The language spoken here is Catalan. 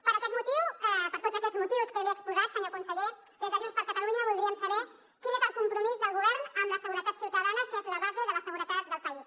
per aquest motiu per tots aquests motius que li he exposat senyor conseller des de junts per catalunya voldríem saber quin és el compromís del govern amb la seguretat ciutadana que és la base de la seguretat del país